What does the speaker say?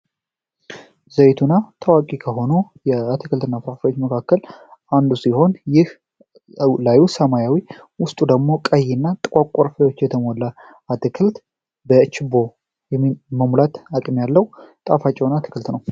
ዘይቱና ታዋቂ ከሆኖ የአቲክልት እና ፕራፊዎች መካከል አንዱ ሲሆን ይህ ላዩ ሰማያዊ ውስጡ ደግሞ ቀይ እና ጥቋቋርፋዎች የተሞለ አትክልት በኤችቦ መሙላት አቅም ያለው ጣፋች አትክልት ነው።